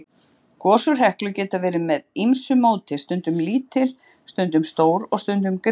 Gos úr Heklu geta verið með ýmsu móti, stundum lítil, stundum stór, og stundum gríðarleg.